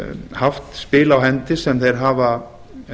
haft spil á hendi sem þeir hafa